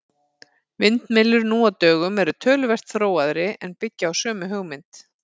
Vindmyllur nú á dögum eru töluvert þróaðri en byggja á sömu hugmynd.